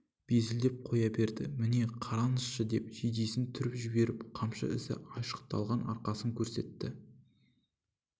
безілдеп қоя берді міне қараңызшы деп жейдесін түріп жіберіп қамшы ізі айшықтаған арқасын көрсетті